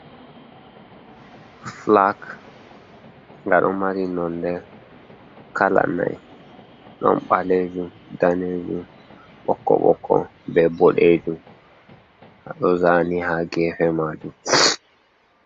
Flak nga ɗo mari nonde kala nai(4) ɗon ɓalejum, danejum, ɓokko-ɓokko be ɓoɗejum. Ɗo zani ha gefe majum.